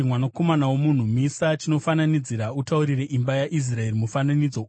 “Mwanakomana womunhu, misa chinofananidzira utaurire imba yaIsraeri mufananidzo.